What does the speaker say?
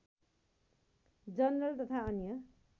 general तथा अन्य